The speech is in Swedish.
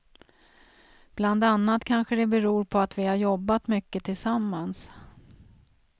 Bland annat kanske det beror på att vi har jobbat mycket tillsammans.